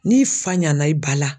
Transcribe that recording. N'i fa ɲɛna i ba la